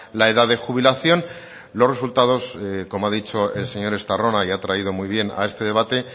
la edad de jubilación los resultados como ha dicho el señor estarrona y ha traído muy bien a este debate